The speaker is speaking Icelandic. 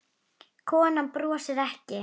Konan brosir ekki.